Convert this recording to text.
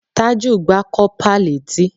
Tájù gbá kọ́pà létí